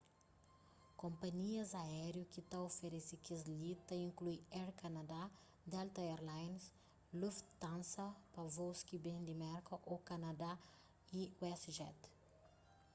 konpanhias aériu ki ta oferese kes-li ta inklui air canada delta air lines lufthansa pa vôus ki ben di merka ô kanadá y westjet